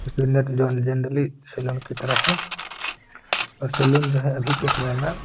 Generally salon की तरह है। सैलून जो है अभी के समय में --